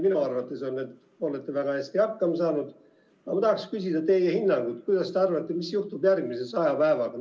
Minu arvates olete te väga hästi hakkama saanud, aga ma tahaksin küsida teie hinnangut, mis te arvate, mis juhtub järgmise saja päevaga.